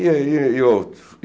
E aí, outro.